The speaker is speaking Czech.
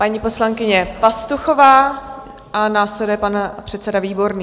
Paní poslankyně Pastuchová a následuje pan předseda Výborný.